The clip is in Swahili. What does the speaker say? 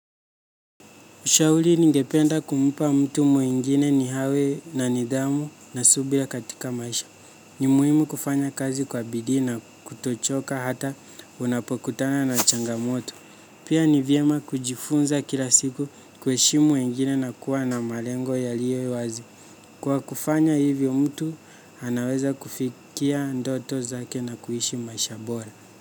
Ushauli ningependa kumpa mtu mwingine ni hawe na nidhamu na subira katika maisha. Ni muhimu kufanya kazi kwa bidii na kutochoka hata unapokutana na changamoto. Pia ni vyema kujifunza kila siku kuhe shimu wengine na kuwa na malengo ya lio wazi. Kwa kufanya hivyo mtu, anaweza kufikia ndoto zake na kuishi maisha bora.